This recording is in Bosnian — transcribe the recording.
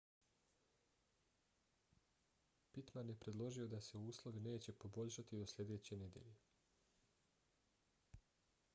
pittman je predložio da se uslovi neće poboljšati do sljedeće nedjelje